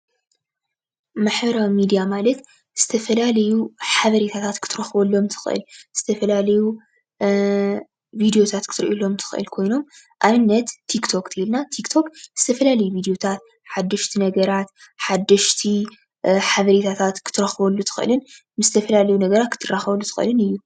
ማሕበራዊ ሚድያ ማለት ዝተፈላለዩ ሓበሬታታት ክትረክበሎም ትኽእል፤ ዝተፈላለዩ ቪድዮታት ክትሪአሎም ትክእል ኮይኖም ። ንኣብነት ቲክቶክ ተይልና ቲክቶክ ዝተፈላለዩ ቪድዮታት፣ ሓደሽቲ ነገራት፣ ሓደሽቲ ሓበሬታታት፣ ክትረክበሉ ትክእልን ምስ ዝተፈላለዩ ነገራት ክትራኸበሉ ትኽእልን እዩ።